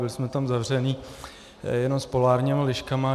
Byli jsme tam zavření jenom s polárními liškami.